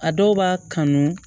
A dɔw b'a kanu